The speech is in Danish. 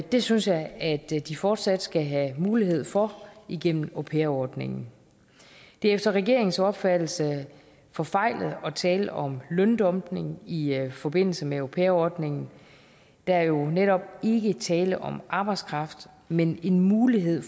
det synes jeg at de fortsat skal have mulighed for gennem au pair ordningen det er efter regeringens opfattelse forfejlet at tale om løndumpning i forbindelse med au pair ordningen der er jo netop ikke tale om arbejdskraft men en mulighed